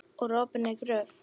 Úr opinni gröf.